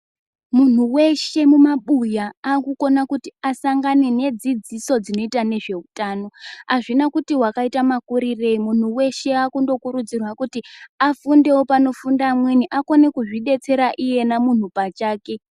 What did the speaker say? Munhu weshe mu mabuya aku kona kuti asangane ne dzidziso dzinoita nezve utano azvina kuti wakaita makurirei munhu weshe akundo kurudzirwa kuti afundewo pano funda amweni akone kuzvi detsera iyena muntu pachake.